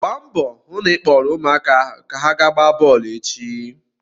Gbaa mbọ hụ na ị kpọọrọ ụmụaka ahụ ka ha ga-gbaa bọọlụ echi!